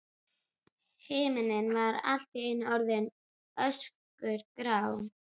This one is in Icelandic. Himinninn var allt í einu orðinn öskugrár.